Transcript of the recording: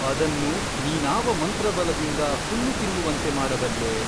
ಅದನ್ನು ನೀನಾವ ಮಂತ್ರಬಲದಿಂದ ಹುಲ್ಲುತಿನ್ನುವಂತೆ ಮಾಡಬಲ್ಲೆ ?